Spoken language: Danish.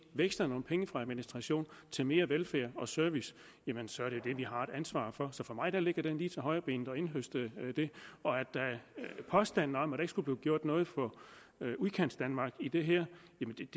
veksle nogle penge fra administration til mere velfærd og service jamen så er det det vi har et ansvar for så for mig ligger det lige til højrebenet at indhøste det påstanden om at der ikke skulle blive gjort noget for udkantsdanmark i det her